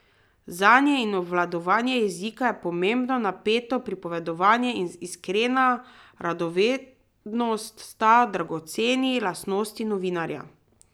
Znanje in obvladanje jezika je pomembno, napeto pripovedovanje in iskrena radovednost sta dragoceni lastnosti novinarja.